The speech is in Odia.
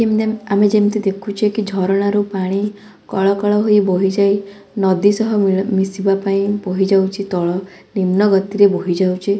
ଆମେ ଯେମିତି ଦେଖୁଛେ କି ଝରଣାରୁ ପାଣି କଳ କଳ ହୋଇ ବୋହିଯାଇ ନଦୀ ସହ ମି ମିଶିବା ପାଇଁ ବୋହିଯାଉଛି ତଳ ନିମ୍ନ ଗତିରେ ବହିଯାଉଛି ।